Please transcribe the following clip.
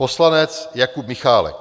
Poslanec Jakub Michálek.